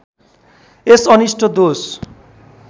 यस अनिष्ट दोष